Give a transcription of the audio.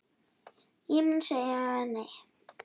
Ég mun segja nei.